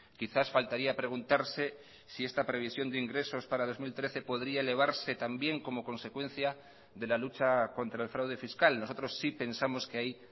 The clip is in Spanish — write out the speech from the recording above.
quizás faltaría preguntarse si esta previsión de ingresos para dos mil trece podría elevarse también como consecuencia de la lucha contra el fraude fiscal nosotros sí pensamos que ahí